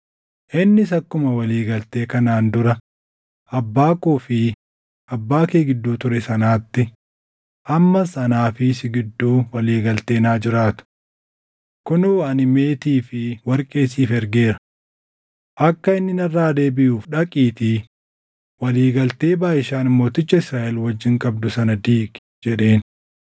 Innis, “Akkuma walii galtee kanaan dura abbaa koo fi abbaa kee gidduu ture sanaatti ammas anaa fi si gidduu walii galteen haa jiraatu. Kunoo ani meetii fi warqee siif ergeera. Akka inni narraa deebiʼuuf dhaqiitii walii galtee Baʼishaan mooticha Israaʼel wajjin qabdu sana diigi” jedheen.